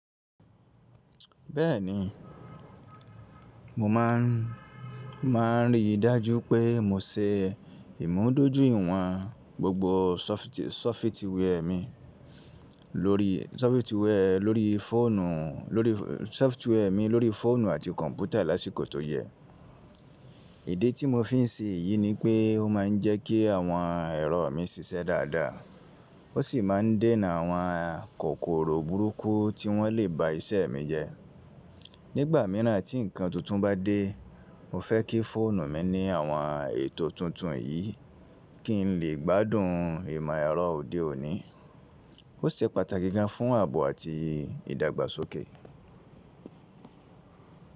Bẹ́ẹ̀ni, mo máà ń máà rí i dájú pé mo se ìmúdójúìwọ̀n gbogbo sọfití software mi lórí sọloftware lórí fóònù lórí software mi lórí fóònù àti kọ̀ǹpútà lásìkò tó yẹ. Idi tí mo fi ń ṣe èyí ni pé ó máà ń jẹ́ kí àwọn ẹ̀rọ mi ṣiṣẹ́ dáadáa. Ó sì máà ń dènà àwọn kòkòrò burúkú tí wọ́n lè ba iṣẹ́ mi jẹ́. Nígbà mìíràn tí ǹkan tuntun bá dé, mo fẹ́ kí fóònù mi ní àwọn ètò tuntun yìí kí n lè gbádùn ìmọ̀ ẹ̀rọ òde òní. Ó ṣe pàtàkì gan fún ààbò àti ìdàgbàsókè.